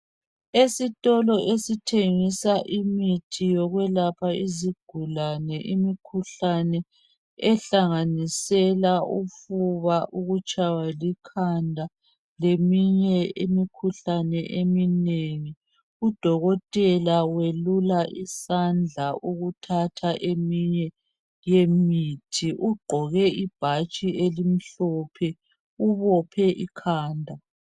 esitolo esithengisa imithi yokwelapha izigulane i ikhuhlane ehlanganisela ufubaukutshywa likhanda leminye imikhuhlane eminengi u dokotela welula isandla ukuthatha yeminye yemithi ugqoke ibhatshi elimhlophe ubophe ikhanda